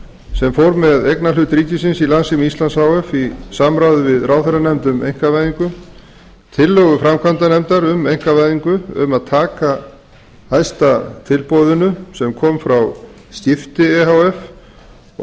sem fór með eignarhlut ríkisins í samráði við ráðherranefnd um einkavæðingu tillögu framkvæmdanefndar um einkavæðingu tillögu framkvæmdanefndar um einkavæðingu um að taka hæsta tilboðinu sem kom frá skipti e h f og